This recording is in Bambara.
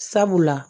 Sabula